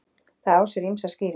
Það á sér ýmsar skýringar.